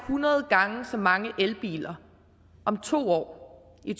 hundrede gange så mange elbiler om to år i